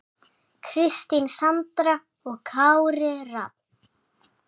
Kristín Sandra og Kári Rafn.